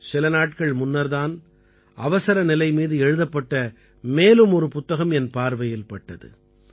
சில நாட்கள் முன்னர் தான் அவசர நிலை மீது எழுதப்பட்ட மேலும் ஒரு புத்தகம் என் பார்வையில் பட்டது